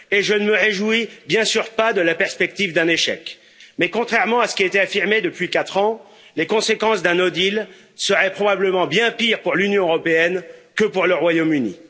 Et je ne me réjouis bien sûr pas de la perspective d'un échec, mais contrairement à ce qui a été affirmé depuis quatre ans, les conséquences d'un no deal seraient probablement bien pires pour l'Union européenne que pour le Royaume Uni.